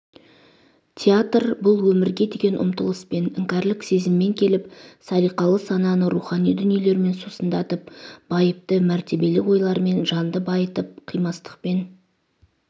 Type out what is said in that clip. театр-бұл өмірге деген ұмтылыспен іңкәрлік сезіммен келіп салиқалы сананы рухани дүниелермен сусындатып байыпты мәртебелі ойлармен жанды байытып қимастықпен